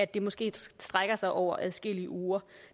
det måske strækker sig over adskillige uger